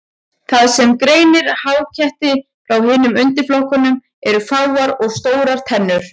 Það sem greinir háketti frá hinum undirflokkunum eru fáar og stórar tennur.